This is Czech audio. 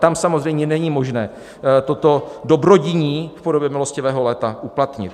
Tam samozřejmě není možné toto dobrodiní v podobě "milostivého léta" uplatnit.